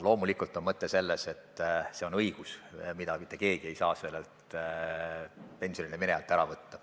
Loomulikult on mõte selles, et see on õigus, mida mitte keegi ei saa pensionile minejalt ära võtta.